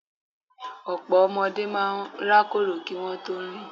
Ọ̀pọ̀ ọmọdé máa rákòrò kí wón tó rìn.